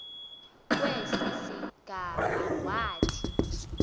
kwesi sigama wathi